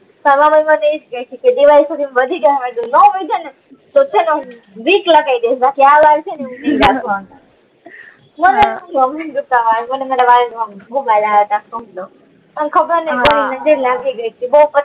સવારે મને અજ કે છે કે વધી જાય અમારી જોડે ના વય્ધુ ને તો તો છે ને હું વિક લાગી દઈશ બાકી મને તને ખબર ને હમ નજર લાગી ગઈ